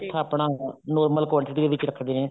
ਮਿੱਠਾ ਆਪਣਾ normal quantity ਦੇ ਵਿੱਚ ਰੱਖਦੇ ਨੇ